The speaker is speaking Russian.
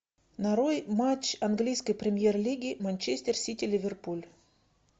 нарой матч английской премьер лиги манчестер сити ливерпуль